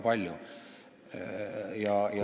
Palun lisaaega!